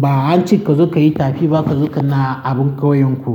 ba an ce ka zo ka yi tafi ba ka zo ka na abin ƙauyenku.